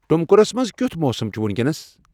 ٹُمکُرس منز کِیُتھ موسم چُھ وینکینس ؟